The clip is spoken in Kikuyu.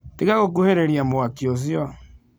Tiga gũkuhĩrĩria mwaki ũcio.